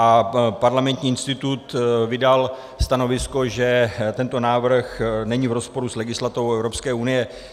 A Parlamentní institut vydal stanovisko, že tento návrh není v rozporu s legislativou EU.